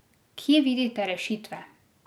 Kje vidite rešitve?